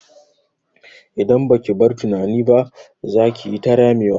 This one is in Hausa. Idan baki bar tunani ba, za kiyi ta ramewa.